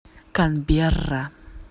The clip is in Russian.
канберра